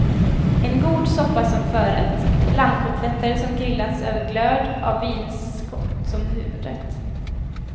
En god soppa som förrätt, lammkotletter som grillats över glöd av vinskott som huvudrätt.